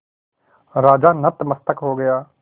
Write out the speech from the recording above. राजा नतमस्तक हो गया